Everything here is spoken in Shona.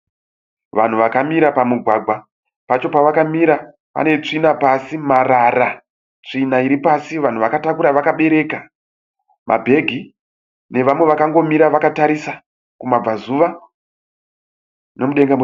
Vanhu vakamira pamugwagwa. Pacho pavakamira pane tsvina pasi, marara, tsvina iri pasi. Vanhu vakatakura, vakabereka mabhegi nevamwe vakangomira vakatarisa kumabva zuva nomudenga.